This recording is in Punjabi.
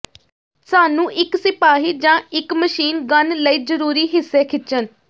ਸਾਨੂੰ ਇੱਕ ਸਿਪਾਹੀ ਜ ਇੱਕ ਮਸ਼ੀਨ ਗੰਨ ਲਈ ਜ਼ਰੂਰੀ ਹਿੱਸੇ ਖਿੱਚਣ